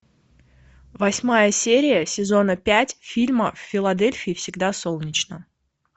восьмая серия сезона пять фильма в филадельфии всегда солнечно